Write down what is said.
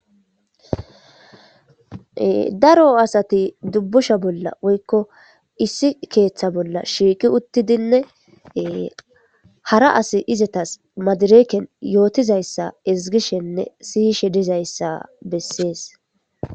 daro asati dubbusha bolla woykko issi keeththa bolla shiiqi uttidinnee hara as izetas madireken yootizayssa izgishenne sihishe dizayssa bessees